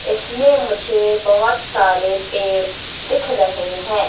इसमें मुझे बहोत सारे पेड़ दिख रहे है।